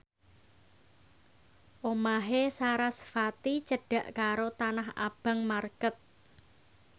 omahe sarasvati cedhak karo Tanah Abang market